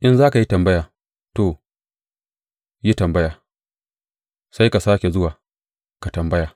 In za ka yi tambaya, to, yi tambaya; sai ka sāke zuwa, ka tambaya.